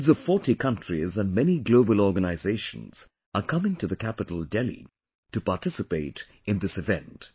Heads of 40 countries and many Global Organizations are coming to the capital Delhi to participate in this event